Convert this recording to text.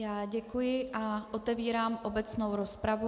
Já děkuji a otevírám obecnou rozpravu.